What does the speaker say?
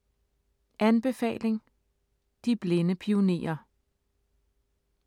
Anbefaling: De blinde pionerer